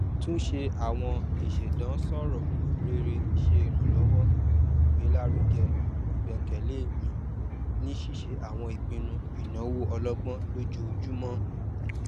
túnsẹ àwọn ìṣèdáǹṣọrò rere ṣe ìrànlọwọ gbélárugẹ ìgbẹkẹlé mi ní ṣíṣe àwọn ìpinnu ìnáwó ọlọgbọn lójoojúmọ